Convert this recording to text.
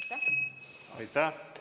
Aitäh!